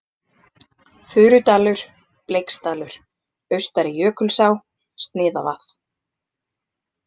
Furudalur, Bleiksdalur, Austari-Jökulsá, Sniðavað